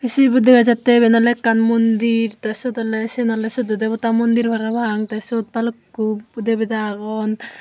sibot dega jattey iben oley ekkan mondir tey syot oley siyen oley soddo deveda mondir parapang tey syot balukku deveda agon.